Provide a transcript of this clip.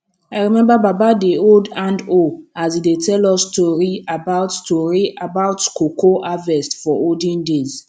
i remember baba dey hold handhoe as e dey tell us story about story about cocoa harvest for olden days